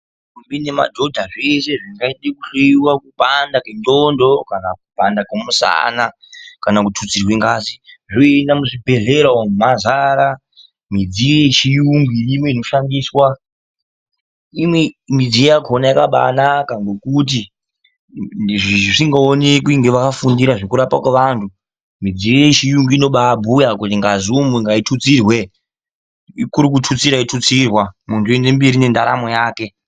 Ndombi ngemadhodha zveshe zvinge kuhloiwa kupanda kwendxondo kana kupanda kwemusana, kana kututsirwe ngazi zvoenda muzvibhedhlera umo mazara midziyo yechiyungu inoshandiswa imwe midziyo yakona yakabanaka ngokuti zvisingaonekwe ngevafundira zvekurapwa kwevanhu midziyo yechiyungu inobabhuya kuti ngazi umu ngaitutsirwe ikuru kutotsirwa yotutsirwa muntu oenda mberi ngendaramo yake.